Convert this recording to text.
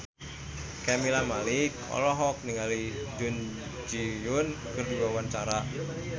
Camelia Malik olohok ningali Jun Ji Hyun keur diwawancara